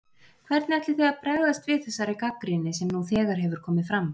Hvernig ætlið þið að bregðast við þessari gagnrýni sem nú þegar hefur komið fram?